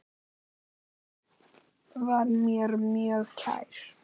Afi var mér mjög kær.